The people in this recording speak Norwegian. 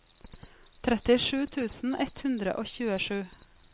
trettisju tusen ett hundre og tjuesju